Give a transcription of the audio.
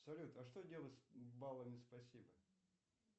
салют а что делать с баллами спасибо